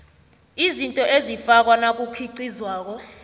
izinto ezifakwa nakukhiqizwako